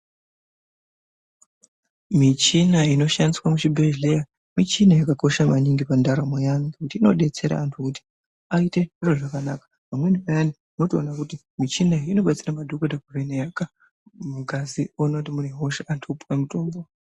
Michina inoshandiswe muchibhedhleya, michina yakakosha maningi pandaramo yeantu, nekuti inodetsera antu, kuti aite zviro zvakanaka. Pamweni payani unotokona kuti michina iyi inobatsira madhokota kuvheneka mungazi oona kuti mune hosha, antu opuwa mitombo.